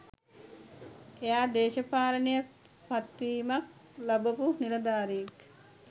එයා දේශපාලන පත්වීමක් ලබපු නිලධාරියෙක්.